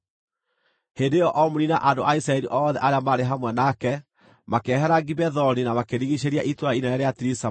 Hĩndĩ ĩyo Omuri na andũ a Isiraeli othe arĩa maarĩ hamwe nake makĩehera Gibethoni na makĩrigiicĩria itũũra inene rĩa Tiriza marĩtahe.